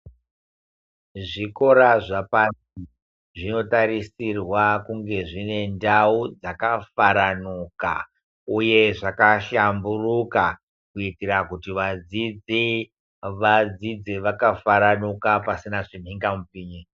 Zvikora zvepashi zvinotarisirwa kunge dzine ndau dzakafaranuka uye zvakahlamburuka kuitira kuti vadzidzi vadzidze vakafaranuka pasina zvimhunga mupinyi.